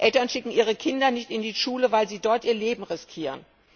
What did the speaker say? Eltern schicken ihre Kinder nicht in Schule, weil sie dort ihr Leben riskieren.